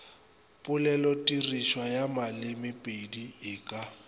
polelotirišwa ya malemepedi e ka